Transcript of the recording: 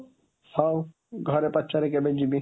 ହଉ, ଘରେ ପଚାରେ କେବେ ଯିବି